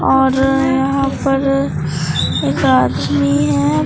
और यहां पर एक आदमी है।